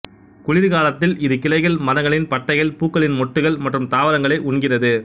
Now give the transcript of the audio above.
குளிர் காலத்தில் இது கிளைகள் மரங்களின் பட்டைகள் பூக்களின் மொட்டுகள் மற்றும் தாவரங்களை உண்கிறது